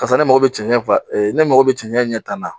Karisa ne mago bɛ cɛn cɛn way, ne mago bɛ cɛn cɛn ɲɛ tan na.